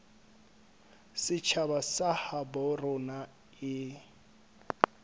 setjhaba sa habo rona e